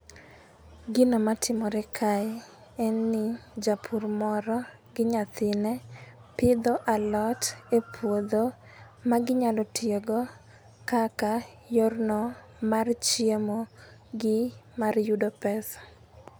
Gino matimore kae en ni japur moro gi nyathine pidho alot e puodho ma ginyalo tiyo go kaka yorno mar chiemo gi mar yudo pesa